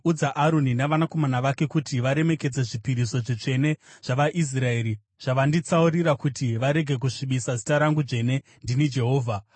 “Udza Aroni navanakomana vake kuti varemekedze zvipiriso zvitsvene zvavaIsraeri zvavanditsaurira kuti varege kusvibisa zita rangu dzvene. Ndini Jehovha.